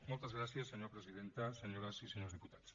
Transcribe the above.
moltes gràcies senyora presidenta senyores i senyors diputats